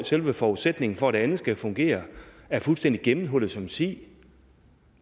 selve forudsætningen for at det andet skal fungere er fuldstændig gennemhullet som en si det